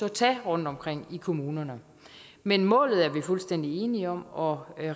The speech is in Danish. at tage rundtomkring i kommunerne men målet er vi fuldstændig enige om og